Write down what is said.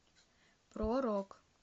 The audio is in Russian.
про рок